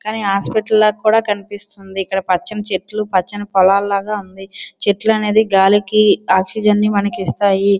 అన్ని హాస్పిటల్ లాగా కనిపిస్తున్నది. ఇక్కడ పచ్చని చెట్లు పచ్చని పొలాలగా కనిపిస్తుంటాయి. చెట్లు అన్నది గాలికి ఆక్సీజని మనకి ఇస్తున్నాయి.